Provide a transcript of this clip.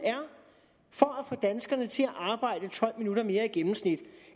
er danskerne til at arbejde tolv minutter mere i gennemsnit